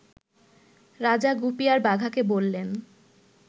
রাজা গুপি আর বাঘাকে বললেন